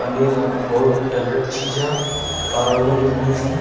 पनीर हमर बहुत फेवरेट चीज ह आर भी हईं |